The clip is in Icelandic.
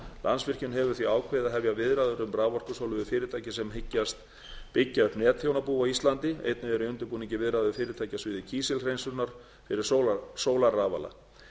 landsvirkjun hefur því ákveðið að hefja viðræður um raforkusölu við fyrirtæki sem hyggjast byggja upp netþjónabú á íslandi einnig eru í undirbúningi viðræður við fyrirtæki á sviði kísilhreinsunar fyrir sólarrafala